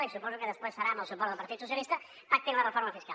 i suposo que després serà amb el suport del partit socialista pactin la reforma fiscal